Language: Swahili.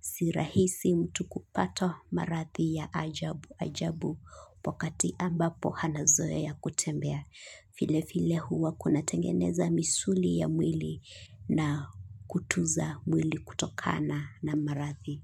Si rahisi mtu kupata maradhi ya ajabu ajabu, wakati ambapo anazoea kutembea. Vile vile huwa kunatengeneza misuli ya mwili na kutunza mwili kutokana na maradhi.